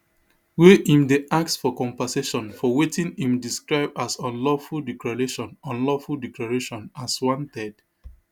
wey im dey ask for compensation for wetin im describe as unlawful declaration unlawful declaration as wanted